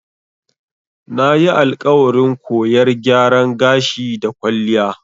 Nayi alƙawarin koyar gyaran gashi da kwalliya.